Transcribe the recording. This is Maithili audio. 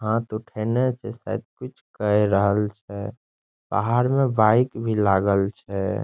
हाथ उठेने छै शायद कुछ केर रहल छै बाहर में बाइक भी लागल छै।